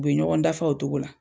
U be ɲɔgɔn dafa o togo la.